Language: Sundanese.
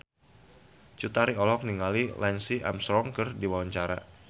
Cut Tari olohok ningali Lance Armstrong keur diwawancara